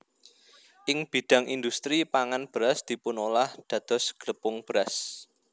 Ing bidhang indhustri pangan beras dipunolah dados glepung beras